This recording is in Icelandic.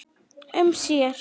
um sér.